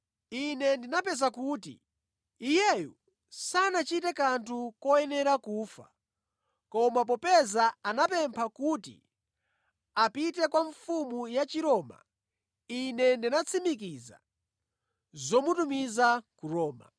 Ine ndinapeza kuti iyeyu sanachite kanthu koyenera kufa, koma popeza anapempha kuti apite kwa mfumu ya Chiroma, ine ndinatsimikiza zomutumiza ku Roma.